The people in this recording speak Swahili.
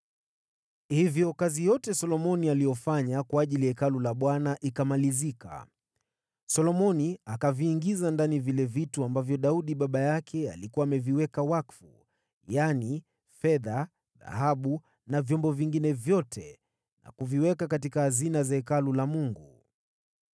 Hivyo Solomoni alipomaliza kazi ya Hekalu la Bwana , akaviingiza ndani vile vitu ambavyo Daudi baba yake alikuwa ameviweka wakfu: yaani, fedha, dhahabu na samani; kisha akaviweka katika hazina za Hekalu la Mungu.